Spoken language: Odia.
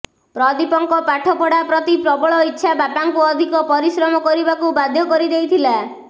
ପ୍ରଦୀପଙ୍କ ପାଠ ପଢ଼ା ପ୍ରତି ପ୍ରବଳ ଇଚ୍ଛା ବାପାଙ୍କୁ ଅଧିକ ପରିଶ୍ରମ କରିବାକୁ ବାଧ୍ୟ କରି ଦେଇଥିଲା